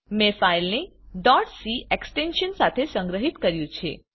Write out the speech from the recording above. મે file ને c extension સાથે સંગ્રહિત કર્યું છે